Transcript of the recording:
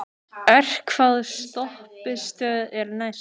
Örk, hvaða stoppistöð er næst mér?